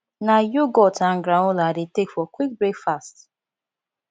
na yogurt and granola i dey take for quick breakfast